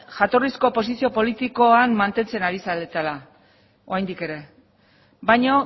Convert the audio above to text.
jatorrizko posizio politikoan mantentzen ari zaretela oraindik ere baina